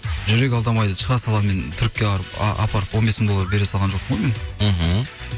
жүрек алдамайды шыға салуымен түрікке барып апарып он бес мың доллар бере салған жоқпын ғой мен мхм